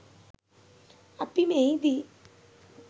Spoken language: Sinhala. අප මෙහිදී